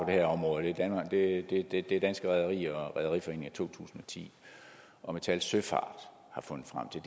her område det det er danske rederier og rederiforeningen af to tusind og ti og metal søfart har fundet frem til